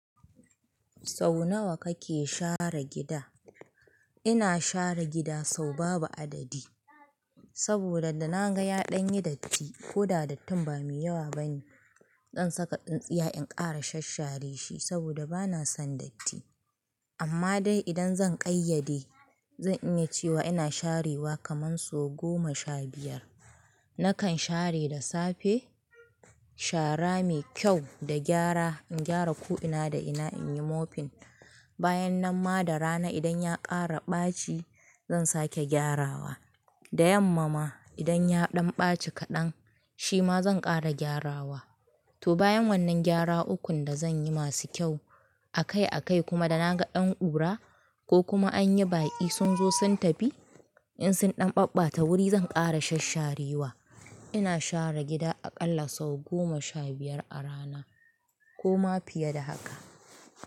Sau nawa kake share gida? Ina share gida sau babu adadi. Saboda da na ga ya ɗan yi datti ko da dattin ba mai yawa bane, zan saka tsintsiya in ƙara shashare shi saboda bana son datti. Amma dai idan zan ƙayyade, zan iya cewa ina sharewa kaman sau goma sha biyar. Nakan share da safe, shara mai kyau da gyara, in gyara ko ina da ina in yi mopping. Bayan nan ma da rana idan ya ƙara ɓaci zan sake gyarawa. Da yamma ma idan ya ɗan ɓaci kaɗan, shi ma zan ƙara gyarawa. To bayan wannan gyara ukun da zan yi masu kyau, akai akai kuma da na ga dan ƙura ko kuma an yi baki sun zo sun tafi, in sun ɗan ɓabbata wuri zan ƙara shasharewa. Ina share gida aƙalla sau goma sha biyar a rana ko ma fiye da haka.